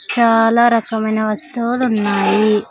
చాలా రకమైన వస్తువులు ఉన్నాయి.